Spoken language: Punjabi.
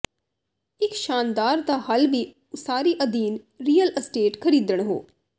ਇੱਕ ਸ਼ਾਨਦਾਰ ਦਾ ਹੱਲ ਵੀ ਉਸਾਰੀ ਅਧੀਨ ਰੀਅਲ ਅਸਟੇਟ ਖਰੀਦਣ ਹੋ